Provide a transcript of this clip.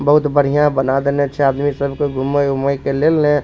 बहुत बढ़िया बना देले छै आदमी सब के घुमय उमय के लेले --